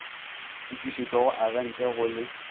fetišetšwa go agente go le